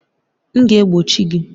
M ga-egbochi gị!